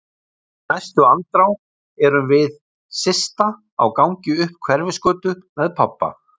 Í næstu andrá erum við Systa á gangi upp Hverfisgötu með pabba.